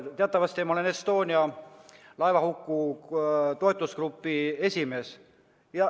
Teatavasti ma olen Estonia laevahuku uurimise toetusgrupi esimees.